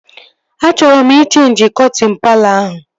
Achọọ m ị cheenji kọtịn palọ ahụ